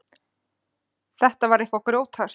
Þetta var eitthvað grjóthart.